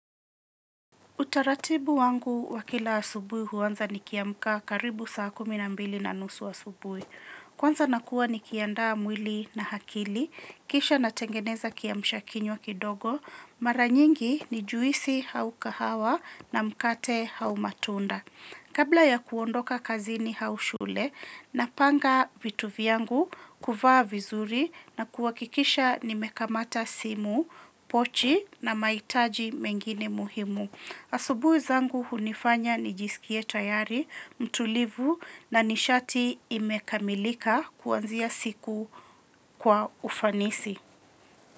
Utaratibu wangu wa kila asubuhi huanza nikiamka karibu saa kumi na mbili na nusu asubuhi. Kwanza nakuwa nikiandaa mwili na hakili, kisha natengeneza kiamshakinywa kidogo, mara nyingi ni juisi hau kahawa na mkate hau matunda. Kabla ya kuondoka kazini hau shule, napanga vitu vyangu, kuvaa vizuri na kuhakikisha nimekamata simu, pochi na mahitaji mengine muhimu. Asubui zangu hunifanya nijisikie tayari, mtulivu na nishati imekamilika kuanzia siku kwa ufanisi.